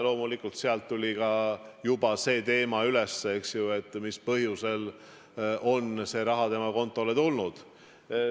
Loomulikult sealt tuli ka juba see teema üles, eks ju, mis põhjusel on see raha tema kontole tulnud.